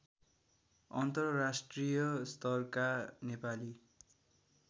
अन्तर्राष्ट्रिय स्तरका नेपाली